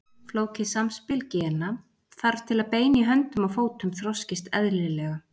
Flókið samspil gena þarf til að bein í höndum og fótum þroskist eðlilega.